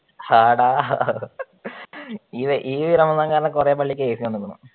ആട ഈ റമദാൻ കാലം കൊറേ പള്ളിക്കു AC കൊണ്ടുവന്നു.